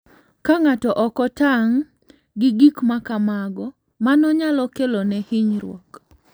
Ka ng'ato ok otang' gi gik ma kamago, mano nyalo kelone hinyruok.